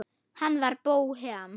Hann var bóhem.